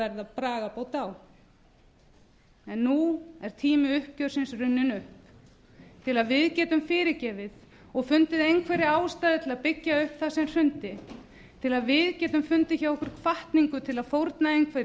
verða bragarbót á en nú er tími uppgjörsins runninn upp til að við getum fyrirgefið og fundið einhverja ástæðu til að byggja upp það sem hrundi til að við getum fundið hjá okkur hvatningu til að fórna